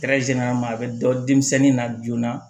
a bɛ dɔ denmisɛnnin na joona